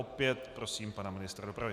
Opět prosím pana ministra dopravy.